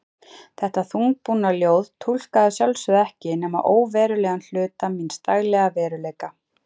Þetta þungbúna ljóð túlkaði að sjálfsögðu ekki nema óverulegan hluta míns daglega veruleika.